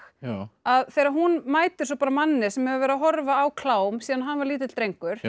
að þegar hún mætir svo bara manni sem hefur verið að horfa á klám síðan hann var lítill drengur